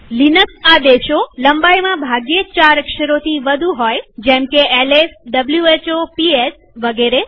Linux આદેશો લંબાઈમાં ભાગ્યે જ ચાર અક્ષરોથી વધુ હોય જેમકે lswhoપીએસ વગેરે